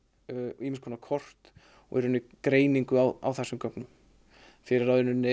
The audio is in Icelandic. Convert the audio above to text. ýmiss konar kort og greiningu á á þessum gögnum fyrir